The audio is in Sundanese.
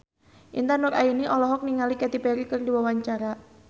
Intan Nuraini olohok ningali Katy Perry keur diwawancara